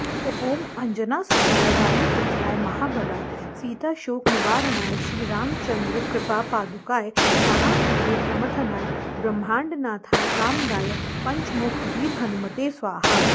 ॐ अञ्जनासुताय वायुपुत्राय महाबलाय सीताशोकनिवारणाय श्रीरामचन्द्रकृपापादुकाय महावीर्यप्रमथनाय ब्रह्माण्डनाथाय कामदाय पञ्चमुखवीरहनुमते स्वाहा